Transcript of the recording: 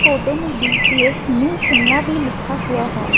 Photo में BCS new Shimla भी लिखा हुआ है।